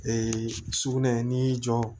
sugunɛ n'i y'i jɔ